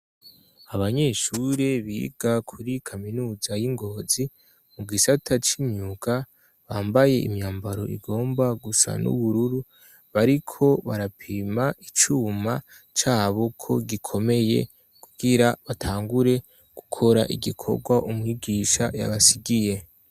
Abanyeshuri biga kuri kaminuza y'i Ngozi mu gisata c'imyuka bambaye imyambaro igomba gusa n'ubururu, bariko barapima icuma cabo ko gikomeye kugira batangure gukora igikorwa umwigisha yabasigiye.